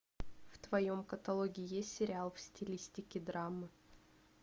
в твоем каталоге есть сериал в стилистике драмы